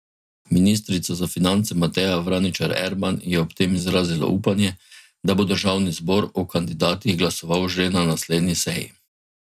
Ministrica za finance Mateja Vraničar Erman je ob tem izrazila upanje, da bo državni zbor o kandidatih glasoval že na naslednji seji.